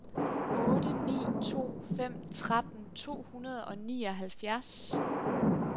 otte ni to fem tretten to hundrede og nioghalvfjerds